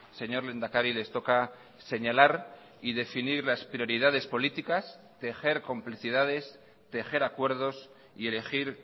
señor lehendakari les toca señalar y definir las prioridades políticas tejer complicidades tejer acuerdos y elegir